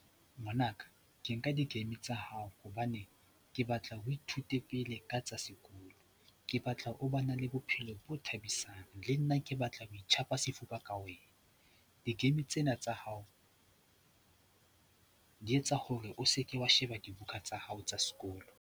Ngwanaka, ke nka di-game tsa hao hobane ke batla o ithute pele ka tsa sekolo. Ke batla o ba na le bophelo bo thabisang, le nna ke batla ho itjhapa sefuba ka wena. Di-game tsena tsa hao di etsa hore o seke wa sheba dibuka tsa hao tsa sekolo.